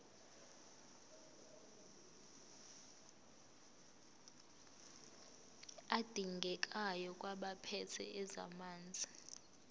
adingekayo kwabaphethe ezamanzi